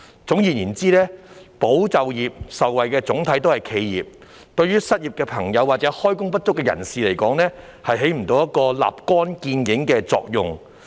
總而言之，"保就業"受惠的總體是企業，對於失業或開工不足的人士來說，起不到立竿見影的作用。